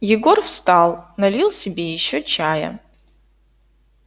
егор встал налил себе ещё чая